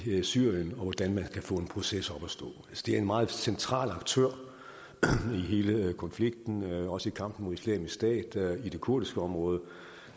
syrien og hvordan man kan få en proces op at stå det er en meget central aktør i hele konflikten også i kampen mod islamisk stat i det kurdiske område